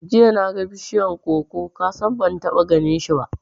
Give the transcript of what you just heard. Jiya naga bishiyar koko, kasan ban taɓa ganinshi ba